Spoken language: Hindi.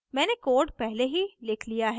मैंने code पहले ही लिख लिया है